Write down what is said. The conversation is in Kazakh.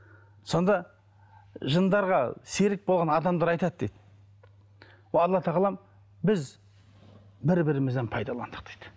сонда жындарға серік болған адамдар айтады дейді о алла тағалам біз бір бірімізді пайдаландық дейді